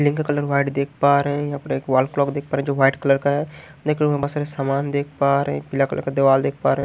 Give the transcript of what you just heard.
Link का colour white देख पा रहे हैं यहाँ पर एक वॉल क्लॉक देख पा रहे हैं जो वाइट कलर का है बहुत सारे सामान देख पा रहे हैं पीला कलर का दीवाल देख पा रहे हैं।